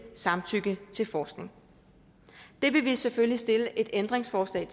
samtykke til forskning det vil vi selvfølgelig stille et ændringsforslag